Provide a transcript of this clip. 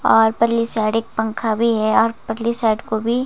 और परली साइड एक पंखा भी है और परली साइड को भी --